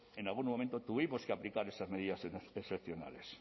en algún momento tuvimos que aplicar esas medidas excepcionales